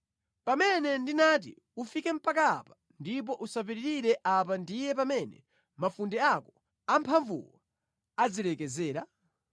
Pamene ndinati, ‘Ufike mpaka apa ndipo usapitirire apa ndiye pamene mafunde ako amphamvuwo azilekezera?’